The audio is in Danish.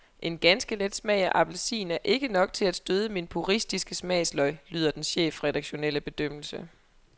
En ganske let smag af appelsin er ikke nok til at støde mine puristiske smagsløg, lyder den chefredaktionelle bedømmelse.